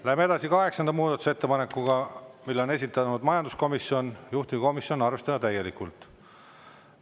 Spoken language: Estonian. Läheme edasi kaheksanda muudatusettepanekuga, mille on esitanud majanduskomisjon, juhtivkomisjon: arvestada täielikult.